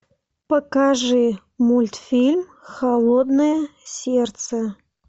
покажи мультфильм холодное сердце